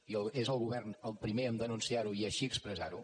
i és el govern el primer a denunciar ho i així expressar ho